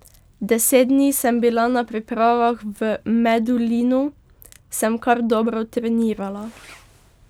Deset dni sem bila na pripravah v Medulinu, sem kar dobro trenirala.